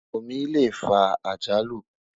omí lẹ fà àjálù